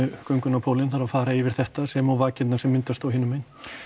á göngunni á pólinn þarf að fara yfir þetta sem og vakirnar sem myndast hinum megin